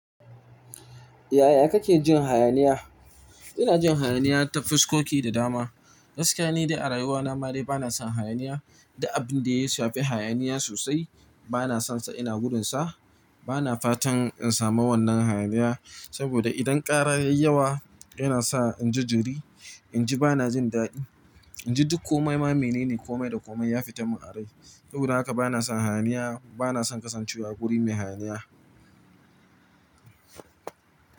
Yaya kake jin hayaniya? Ina jin hayaniya ta fuskoki da dama. Gaskiya ne dai a rayuwana ma dai bana son hayaniya da abin da ya shafi hayaniya sosai bana son sa ina gudun sa. Bana fatan in samu wannan hayaniya, saboda idan ƙara yayi yawa yana sa inji jiri, inji bana jin daɗi, inji duk kome ma mene ne kome da kome ya fita min a rai. Saboda haka bana son hayaniya, bana son kasancewa a wuri mai hayaniya.